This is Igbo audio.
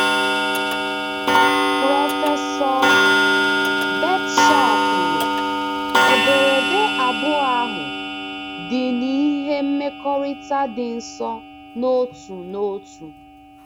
Prọfesọ Birdsall kwuru: “ Ederede abụọ ahụ dị n’ihe mmekọrịta dị nso n’otu na otu....